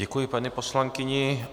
Děkuji, paní poslankyni.